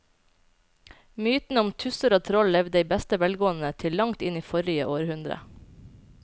Mytene om tusser og troll levde i beste velgående til langt inn i forrige århundre.